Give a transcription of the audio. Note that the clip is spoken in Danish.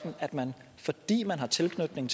ind